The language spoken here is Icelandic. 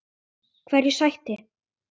Hverju sætti?